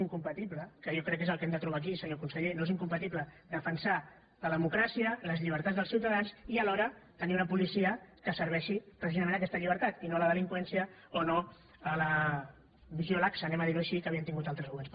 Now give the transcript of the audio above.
que jo crec que és el que hem de trobar aquí senyor conseller no és incompatible defensar la democràcia les llibertats dels ciutadans i alhora tenir una policia que serveixi precisament aquesta llibertat i no la delinqüència o no la visió laxa anem a dir ho així que havíem tingut altres governs